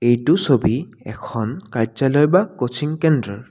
এইটো ছবি এখন কাৰ্যালয় বা কোচিং কেন্দ্ৰ।